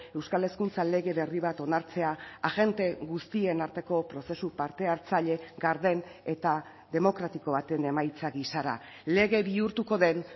euskal hezkuntza lege berri bat onartzea agente guztien arteko prozesu parte hartzaile garden eta demokratiko baten emaitza gisara lege bihurtuko den